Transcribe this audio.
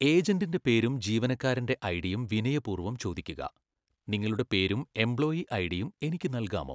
ഏജന്റിന്റെ പേരും ജീവനക്കാരന്റെ ഐഡിയും വിനയപൂർവം ചോദിക്കുകഃ 'നിങ്ങളുടെ പേരും എംപ്ലോയീ ഐഡിയും എനിക്ക് നൽകാമോ?